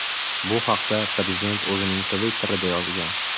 Bu haqda prezident o‘zining Twitter’ida yozgan .